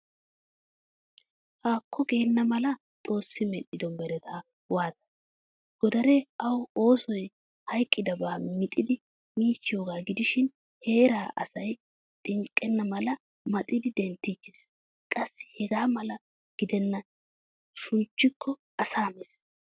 Haako geena mala xoosi medhdhido meretta waatane. Godaree awu oosoy hayqqidaba maxidi miichiyoga gidishin heeray asa xinqqena mala maxxidi denttichchees. Qassi hega xala giddena shunchiko asa mees.